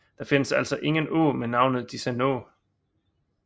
Der findes altså ingen å med navnet Disenå